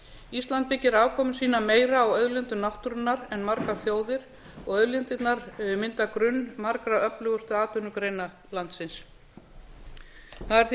ísland byggir afkomu sína meira á auðlindum náttúrunnar en margar þjóðir og auðlindirnar mynda grunn margra öflugustu atvinnugreina landsins það er því